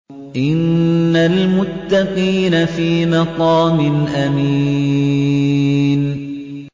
إِنَّ الْمُتَّقِينَ فِي مَقَامٍ أَمِينٍ